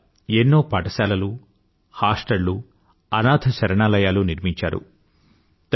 ఆవిడ ఎన్నో పాఠశాలలూ హాస్టళ్ళూ అనాథశరణాలయాలూ నిర్మించారు